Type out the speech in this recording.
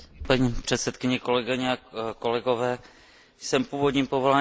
Jsem původním povoláním lékař a vím, jak je těžké zachraňovat lidský život.